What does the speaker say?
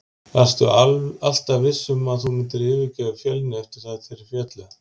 Varstu alltaf viss um að þú myndir yfirgefa Fjölni eftir að þeir féllu?